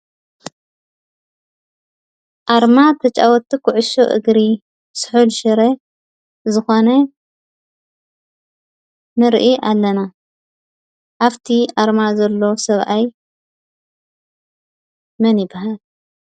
ኣርማ ተጫወቲ ኩዕሾ እግሪ ስሑል ሽረ ዝኾነ ንርኢ ኣለና። ኣብቲ ኣርማ ዘሎ ስብኣይ መን ይበሃል ?